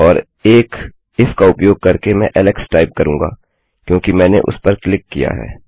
और एक इफ का उपयोग करके मैं ऐलेक्स टाइप करुँगा क्योंकि मैंने उसपर क्लिक किया है